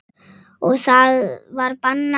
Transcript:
Og það var bannað.